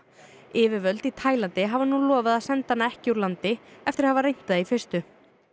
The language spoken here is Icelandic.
yfirvöld í Taílandi hafa nú lofað að senda hana ekki úr landi eftir að hafa reynt það í fyrstu